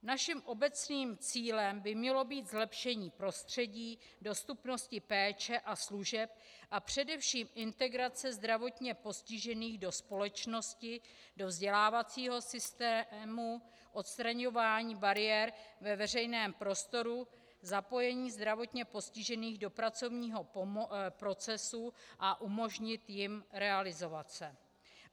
Naším obecným cílem by mělo být zlepšení prostředí, dostupnosti péče a služeb a především integrace zdravotně postižených do společnosti, do vzdělávacího systému, odstraňování bariér ve veřejném prostoru, zapojení zdravotně postižených do pracovního procesu a umožnit jim realizovat se.